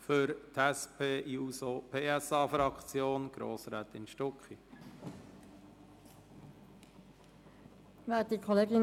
Für die SP-JUSO-PSA-Fraktion hat Grossrätin Stucki das Wort.